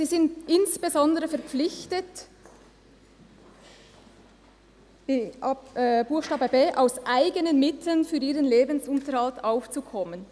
«Sie sind insbesondere verpflichtet,» und bei Buchstabe b «aus eigenen Mitteln für ihren Lebensunterhalt aufzukommen».